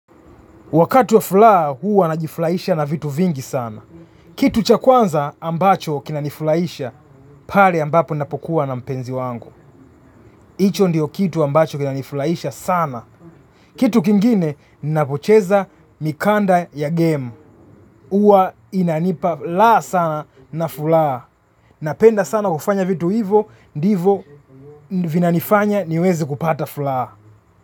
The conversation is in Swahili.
Wakatu wa fulaa huwa najifulaisha na vitu vingi sana. Kitu cha kwanza ambacho kinanifulaisha pale ambapo napokuwa na mpenzi wangu. Hicho ndio kitu ambacho kinanifulaisha sana. Kitu kingine napocheza mikanda ya game. Huwa inanipa laa sana na fulaa. Napenda sana kufanya vitu hivo ndivo vinanifanya niweze kupata fulaa.